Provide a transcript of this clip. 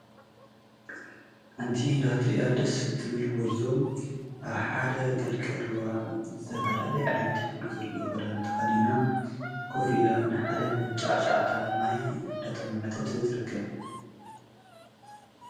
እቲ ንኽትርእያ ደስ እትብል ጐርዞ ኣብ ሓደ ቀልቀል ሩባ ዝተፈላለየ ዓይነት ኅብሪ ዘለዎኽዳን ተኸዲና ኮፊላ ንሓደ መንጫዕ ሽዕታ ማይ እንዳጠመተት ትርከብ።